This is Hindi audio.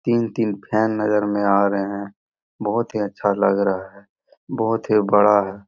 तीन-तीन फेन नजर में आ रहे हैं बहुत ही अच्छा लग रहा है बहुत ही बड़ा है।